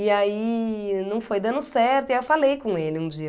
E aí não foi dando certo e eu falei com ele um dia.